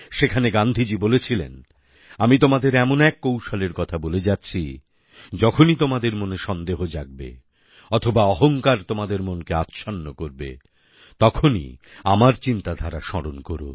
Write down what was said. সেখানে গান্ধীজী বলেছিলেন আমি তোমাদের এমন এক কৌশলের কথা বলে যাচ্ছি যখনই তোমাদের মনে সন্দেহ জাগবে অথবা অহংকার তোমাদের মনকে আচ্ছন্ন করবে তখনই আমার চিন্তাধারা স্মরণ কোরো